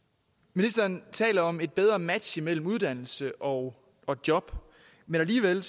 ministeren taler om et bedre match mellem uddannelse og og job men alligevel